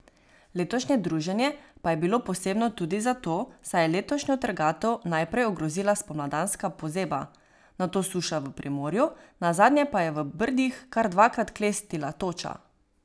Letošnje druženje pa je bilo posebno tudi zato, saj je letošnjo trgatev najprej ogrozila spomladanska pozeba, nato suša v Primorju, nazadnje pa je v Brdih kar dvakrat klestila toča.